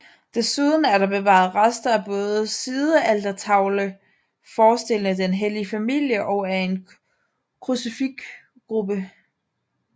Desuden er der bevaret rester af både en sidealtertavle forestillende Den Hellige Familie og af en krucifiksgruppe